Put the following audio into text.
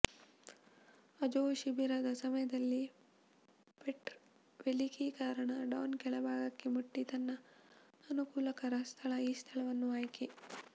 Azov ಶಿಬಿರದ ಸಮಯದಲ್ಲಿ ಪೆಟ್ರ್ ವೆಲಿಕಿ ಕಾರಣ ಡಾನ್ ಕೆಳಭಾಗಕ್ಕೆ ಮುಟ್ಟಿ ತನ್ನ ಅನುಕೂಲಕರ ಸ್ಥಳ ಈ ಸ್ಥಳವನ್ನು ಆಯ್ಕೆ